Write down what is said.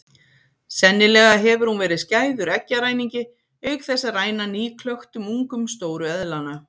Sennilega hefur hún verið skæður eggjaræningi auk þess að ræna nýklöktum ungum stóru eðlanna.